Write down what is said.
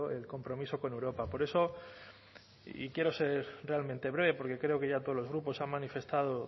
el compromiso con europa por eso y quiero ser realmente breve porque creo que ya todos los grupos han manifestado